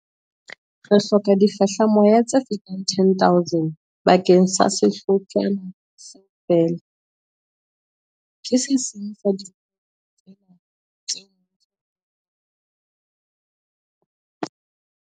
Re ka hloka difehlamoya tse fetang 10 000 bakeng sa sehlotshwana seo feela. Ke se seng sa dintho tsena tseo mmuso o lekang ho di phema.